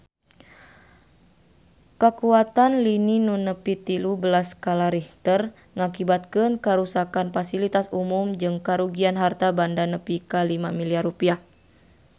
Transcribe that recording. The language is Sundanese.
Kakuatan lini nu nepi tilu belas skala Richter ngakibatkeun karuksakan pasilitas umum jeung karugian harta banda nepi ka 5 miliar rupiah